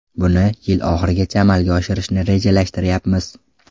Buni yil oxirigacha amalga oshirishni rejalashtirayapmiz.